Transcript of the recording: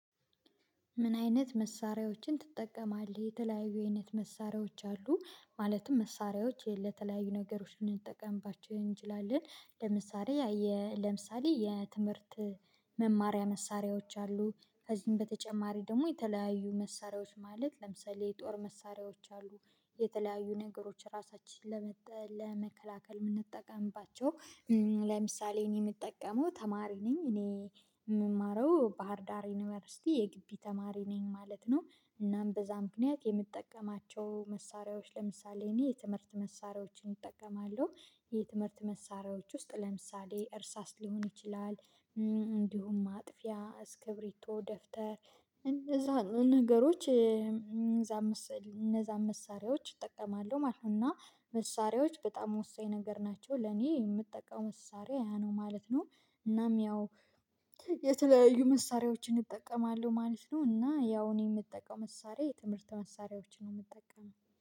ምን አይነት መሳሪያዎችን ትጠቀማለህ? የተለያዩ የአይነት መሳሪያዎች አሉ። ማለትም መሳሪያዎች ለተለያዩ ነገሮች እንጠቀምባችሁ እንችላለን። ለምሳሌ ለምሳሌ የትምህርት መማሪያ መሳሪያዎች አሉ። ከዚህም በተጨማሪ ደግሞ የተለያዩ መሳሪያዎች ማለት ለምሳሌ የጦር መሳሪያዎች አሉ። የተለያዩ ነገሮች ራሳችንን ለመጠ፤ ለመከላከል የምንጠቀምባቸው ለምሳሌ እኔ የምጠቀመው ተማሪ ነኝ፣ እኔ የምማረው ባህርዳር ዩኒቨርሲቲ የግቢ ተማሪ ነኝ ማለት ነው። እናም በዛ ምክንያት የምጠቀማቸው መሳሪያዎች ለምሳሌ እኔ የትምህርት መሳሪያዎችን እጠቀማለሁ። የትምህርት መሳሪያዎች ውስጥ ለምሳሌ እርሳስ ሊሆን ይችላል እንዲሁም ማጥፊያ፣ እስክብሪቶ፣ ደፍተር እነዛን ነገሮች እነዛን መሳሪያዎች እጠቀማለሁ ማለት ነው እና መሳሪያዎች በጣም ወሳኝ ነገር ናቸው። ለኔ የምጠቀመው መሳሪያ ያ ነው ማለት ነው። እናም ያው የተለያዩ መሳሪያዎችን እጠቀማለሁ ማለት ነው እና ያው እኔ የምጠቀም መሳሪያ የትምህርተ መሳሪያዎች ነው የምጠቀመው።